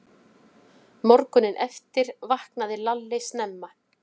Morguninn eftir vaknaði Lalli snemma.